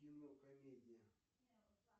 кино комедия